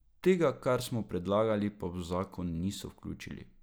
Tega, kar smo predlagali, pa v zakon niso vključili.